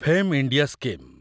fame India scheme